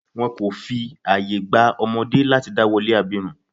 Wọn kò fi àye gba ọmọdé láti dá wolé abirùn.